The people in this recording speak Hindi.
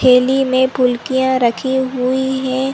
थैली में फुलकियाँ रखी हुई है ।